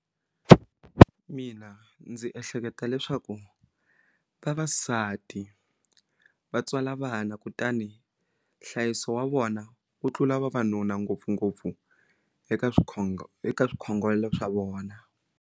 Mina ndzi ehleketa leswaku vavasati va tswala vana kutani nhlayiso wa vona wu tlula vavanuna ngopfungopfu eka swikhongelo eka swikhongelo swa vona.